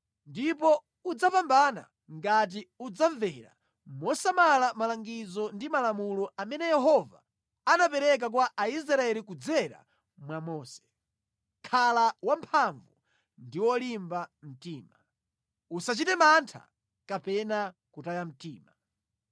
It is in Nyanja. Ndipo udzapambana ngati udzamvera mosamala malangizo ndi malamulo amene Yehova anapereka kwa Aisraeli kudzera mwa Mose. Khala wamphamvu ndi wolimba mtima. Usachite mantha kapena kutaya mtima.